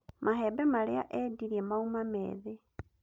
Mahembe marĩa endirie mauma meethĩ